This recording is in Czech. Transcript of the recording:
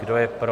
Kdo je pro?